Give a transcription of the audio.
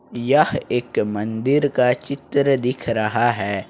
यह एक मंदिर का चित्र दिख रहा है।